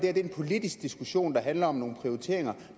er en politisk diskussion der handler om nogle prioriteringer